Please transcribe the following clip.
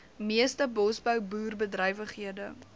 meeste bosbou boerderybedrywighede